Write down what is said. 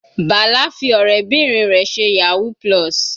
Bala fi ọ̀rẹ́bìnrin rẹ̀ ṣe yahoo+.